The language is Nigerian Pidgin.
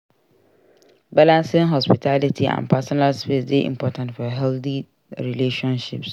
Balancing hospitality and personal space dey important for healthy relationships.